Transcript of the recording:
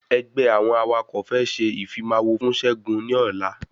Ẹgbẹ́ àwọn awakọ̀ fẹ́ ṣe ìfimawo fún ṣẹgun ní ọ̀la